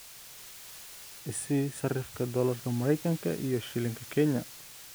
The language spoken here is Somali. i sii sarifka doolarka Maraykanka iyo shilinka Kenya